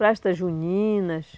Festas juninas.